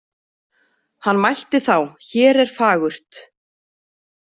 Hann mælti þá: Hér er fagurt.